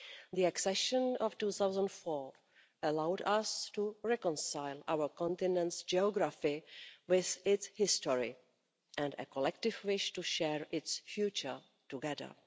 The accession of 2004 allowed us to reconcile our continent's geography with its history and a collective wish to share its future together.